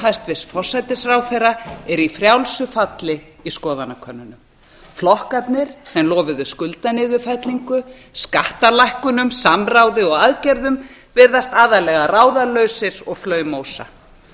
hæstvirts forsætisráðherra er í frjálsu falli í skoðanakönnunum flokkarnir sem lofuðu skuldaniðurfellingu skattalækkunum samráði og aðgerðum virðast aðallega ráðalausir og flaumósa